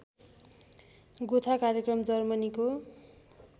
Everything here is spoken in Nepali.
गोथा कार्यक्रम जर्मनीको